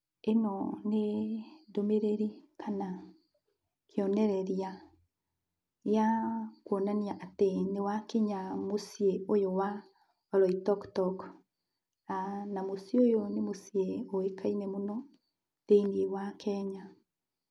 Ĩno nĩ ndũmĩrĩri kana kĩonereria gĩa kuonania atĩ nĩ wakinya mũciĩ ũyũ wa Oloitokitok, na mũciĩ ũyũ nĩ mũciĩ ũĩkaine mũno, thĩiniĩ wa Kenya.